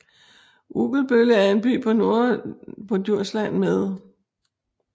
Ugelbølle er en by på Djursland med